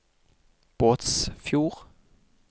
Båtsfjord